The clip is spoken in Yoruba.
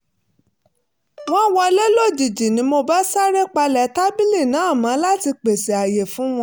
wọ́n wọlé lójijì ni mo bá sáré palẹ̀ tábìlì náà mọ́ láti pèsè àyè fún wọn